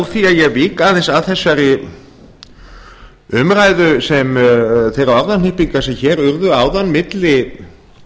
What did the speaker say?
því að ég vík aðeins að þessari umræðu þeim orðahnippingum sem hér urðu áðan milli